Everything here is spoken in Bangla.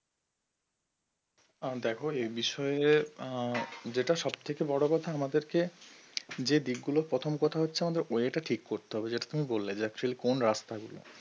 আর দেখো এই বিষয়ে, যেটা সব থেকে বড়ো কথা আমাদেরকে যে দিকগুলো প্রথম কথা হচ্ছে, আমাদের way টা ঠিক করতে হবে যেটা তুমি বললে যে actually কোন রাস্তা